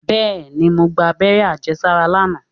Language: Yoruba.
Bẹ́ẹ̀ni, mo gba abẹ́rẹ́ àjẹsára lánàá